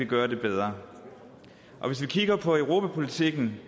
gøre det bedre hvis vi kigger på europapolitikken